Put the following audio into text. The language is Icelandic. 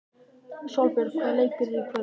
Sólbjörn, hvaða leikir eru í kvöld?